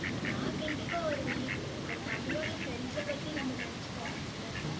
நான் கண்டிப்பா வருவேன். but நம்மளோட friends அ பத்தி நம்ம நினைச்சு பாக்கணும்ல